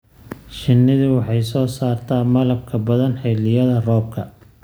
Shinnidu waxay soo saartaa malabka badan xilliyada roobabka.